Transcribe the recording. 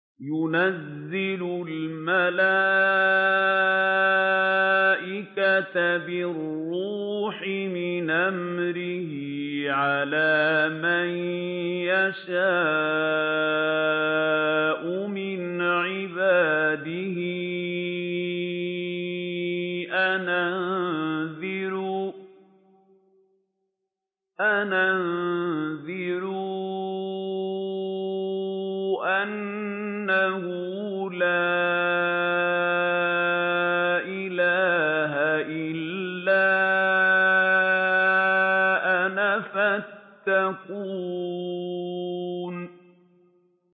يُنَزِّلُ الْمَلَائِكَةَ بِالرُّوحِ مِنْ أَمْرِهِ عَلَىٰ مَن يَشَاءُ مِنْ عِبَادِهِ أَنْ أَنذِرُوا أَنَّهُ لَا إِلَٰهَ إِلَّا أَنَا فَاتَّقُونِ